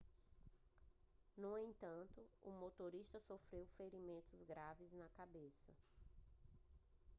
no entanto o motorista sofreu ferimentos graves na cabeça